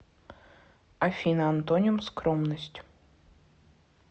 афина антоним скромность